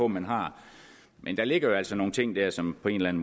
man har men der ligger jo altså nogle ting der som på en